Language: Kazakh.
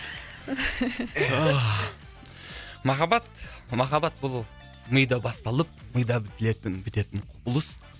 махаббат махаббат бұл мида басталып мида бітілетін бітетін құбылыс